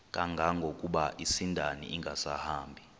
kangangokuba isindane ingasahambi